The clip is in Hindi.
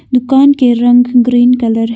दुकान के रंग ग्रीन कलर है।